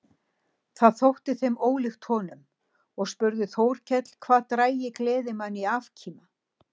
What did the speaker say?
Það þótti þeim ólíkt honum og spurði Þórkell hvað drægi gleðimann í afkima.